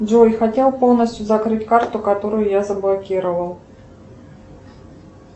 джой хотел полностью закрыть карту которую я заблокировал